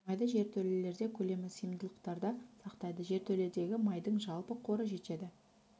майды жертөлелерде көлемі сыйымдылықтарда сақтайды жертөледегі майдың жалпы қоры жетеді